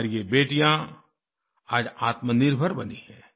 हमारी ये बेटियाँ आज आत्मनिर्भर बनी हैं